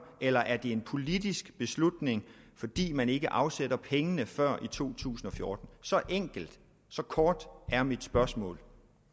eller er det en politisk beslutning fordi man ikke afsætter pengene før i 2014 så enkelt så kort er mit spørgsmål